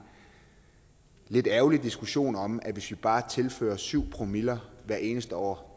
lidt ærgerlig diskussion om at hvis vi bare tilfører syv promille hvert eneste år